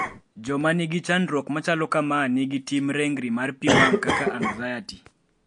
jomangi chandruok machalo kamaa nigi tim rengri mar pii wang kaka anxiety